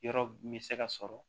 Yɔrɔ min bɛ se ka sɔrɔ